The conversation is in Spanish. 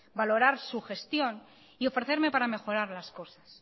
valorar su gestión y ofrecerme para mejorar las cosas